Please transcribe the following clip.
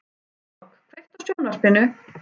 Hrafnborg, kveiktu á sjónvarpinu.